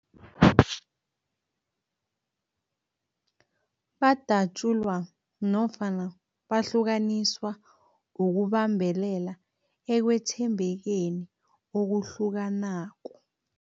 Badatjulwa nofana bahlukaniswa ukubambelela ekwethembekeni okuhlukanako.